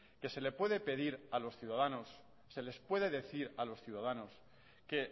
que se le puede pedir a los ciudadanos se les puede decir a los ciudadanos que